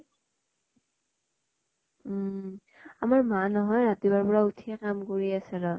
উম । আমাৰ মা নহয় ৰাতিপুৱা ৰ পৰা উঠিয়ে, কাম কৰি আছে ৰহ